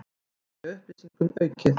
Aðgengi að upplýsingum aukið